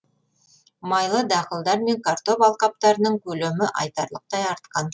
майлы дақылдар мен картоп алқаптарының көлемі айтарлықтай артқан